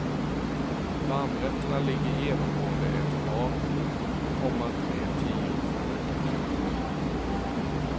Varmrätterna ligger genomgående ett par, komma tre tior för högt. punkt